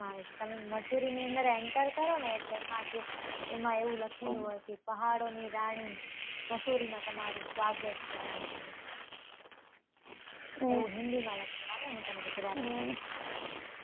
આવે, પણ મસુરીની અંદર enter કરોને, એટલે એમાં એવું લખેલુ હોય કે પહાડોની રાણી મસૂરીમાં તમારુ સ્વાગત છે એમ એવુ હિન્દીમાં લખેલું આવે, હું તને ગુજરાતીમાં કવ છું